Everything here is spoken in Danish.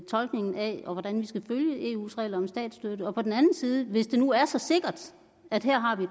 tolkningen af hvordan vi skal følge eus regler om statsstøtte og på den anden side hvis det nu er så sikkert at her